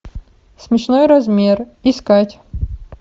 смешной размер искать